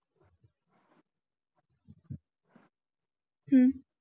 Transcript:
हम्म